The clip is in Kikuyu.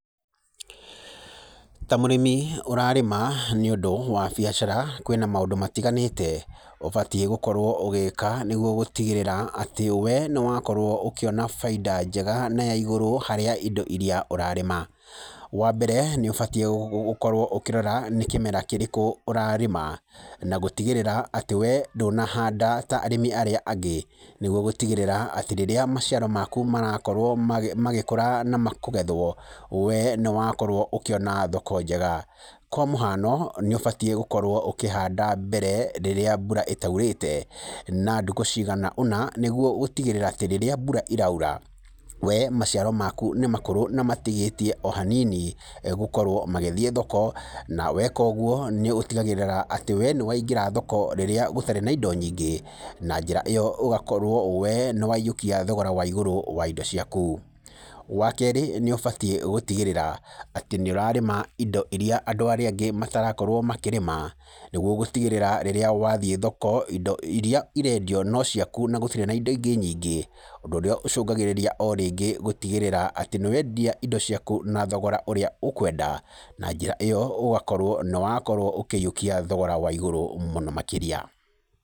Ta mũrĩmi ũrarĩma nĩ ũndũ wa biacara, kwĩna maũndũ, matiganĩte ũbatie gũkorwo ũgĩka nĩguo gũtigĩrĩra atĩ we nĩwakorwo ũkĩona baita ya ya igũrũ harĩ indo iria ũrarĩma. Wa mbere nĩ ũbatie gũkorwo ũkĩrora nĩ kĩmera kĩrĩkũ ũrarĩma, na gũtigĩrĩra atĩ we ndũnahanda ta arĩmi arĩa angĩ, niguo gũtigĩrĩra atĩ rĩrĩa maciaro maku marakorwo magĩkũra na makugethwo, wee nĩ wakorwo ũkĩona thoko njega. Kwa mũhano nĩ ũbatiĩ gũkorwo ũkĩhanda mbere rĩrĩa mbura ĩtaurĩte na thĩkũ cigana ũna nĩ guo gũtigĩrĩra atĩ rĩrĩa mbura ĩraura we maciaro maku nĩ makũrũ na matigĩtie o hanini gukorwo magethiĩ thoko, na weka ũguo nĩ ũtigagĩrĩra atĩ we nĩ waigĩra thoko o rĩrĩa gũtari na indo nyingĩ. Na njĩra ĩyo ũgakorwo we nĩ wayiukia thogora wa igũrũ wa indo ciaku. Wa keerĩ nĩ ũbatie gutigĩrĩra atĩ nĩurarĩma indo iria andũ arĩa angĩ matarakorwo makĩrĩma, nĩguo gũtigĩrĩra rĩrĩa wathiĩ thoko indo iria irendio no ciaku na gũtirĩ na indo ingĩ nyingĩ. Ũndũ ũrĩa ũcũngagĩrĩria o rĩngĩ gũtigĩrĩra atĩ nĩwendia indo ciaku na thogora ũrĩa ũkwenda. Na njĩra ĩyo ũgakorwo nĩ wakorwo ũkĩyiukia thogora wa ĩgũrũ mũno makĩria.